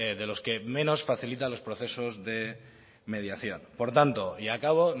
de los que menos facilita los procesos de mediación por tanto y acabo